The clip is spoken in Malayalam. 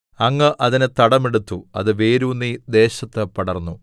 അങ്ങ് അതിന് തടം എടുത്തു അത് വേരൂന്നി ദേശത്ത് പടർന്നു